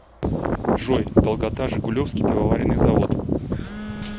джой долгота жигулевский пивоваренный завод